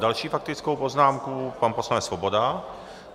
Další faktickou poznámku, pan poslanec Svoboda.